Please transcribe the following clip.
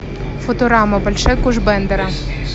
футурама большой куш бендера